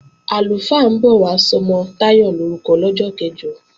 Àlùfáà ń bọ̀ wá sọmọ Táyọ̀ lorúkọ lọ́jọ́ kẹ̀jọ